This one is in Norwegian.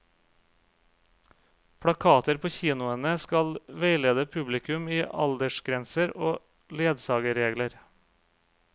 Plakater på kinoene skal veilede publikum i aldersgrenser og ledsagerregler.